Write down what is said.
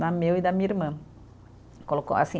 Né, meu e da minha irmã. Colocou assim